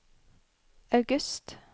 august